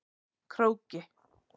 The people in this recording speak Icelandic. Króki